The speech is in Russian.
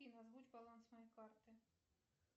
афина озвучь баланс моей карты